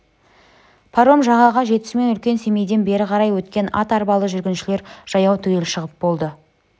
паром жағаға жетісімен үлкен семейден бері қарай өткен ат-арбалы жүргіншілер жаяулар түгел шығып болды